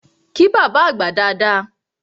Kí bábá àgbà dada!